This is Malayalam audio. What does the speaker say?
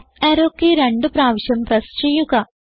അപ്പ് അറോ കെയ് രണ്ടു പ്രാവിശ്യം പ്രസ് ചെയ്യുക